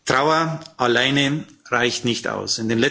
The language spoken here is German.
Trauer alleine reicht nicht aus.